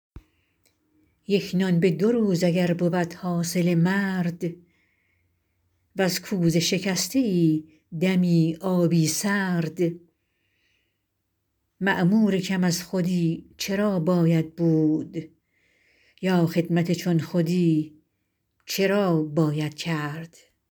یک نان به دو روز اگر بود حاصل مرد از کوزه شکسته ای دمی آبی سرد مأمور کم از خودی چرا باید بود یا خدمت چون خودی چرا باید کرد